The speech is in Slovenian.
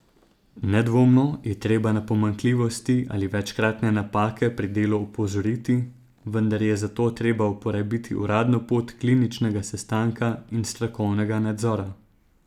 Nedvomno je treba na pomanjkljivosti ali večkratne napake pri delu opozoriti, vendar je za to treba uporabiti uradno pot kliničnega sestanka in strokovnega nadzora.